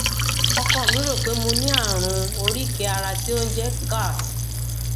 ọkọ mi rò pé mo ní ààrùn oríkèé ara tí ó jẹ ń gout